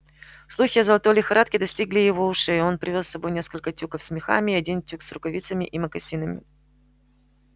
слухи о золотой лихорадке достигли и его ушей и он привёз с собой несколько тюков с мехами и один тюк с рукавицами и мокасинами